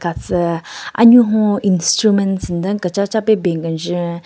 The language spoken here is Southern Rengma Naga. Atsü anyun hon instruments nden kechacha pe ben kenjün.